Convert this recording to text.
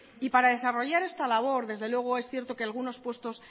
y para desarrollar esta labor desde luego es cierto que algunos puestos